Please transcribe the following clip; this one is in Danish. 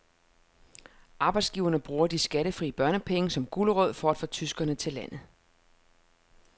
Arbejdsgiverne bruger de skattefri børnepenge som gulerod for at få tyskere til landet.